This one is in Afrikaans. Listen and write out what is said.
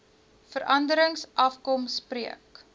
veranderings afkom spreek